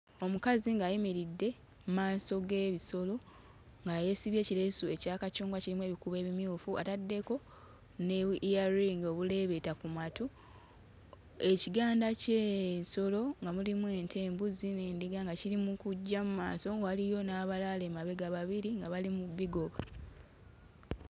Omukazi ng'ayimiridde mmaaso g'ebisolo nga yeesibye ekireesu ekya kacungwa kirimu ebikuubo ebimyufu ataddeko ne bu-earing obuleebeeta ku matu, ekiganda ky'ensolo nga mulimu ente embuzi n'endiga nga kiri mu kujja mmaaso waliyo n'abalala emabega babiri nga bali mu bbigoba.